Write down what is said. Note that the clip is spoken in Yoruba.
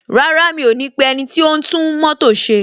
Rárá, mi ò ní pe ẹniti o n tún mótò ṣe.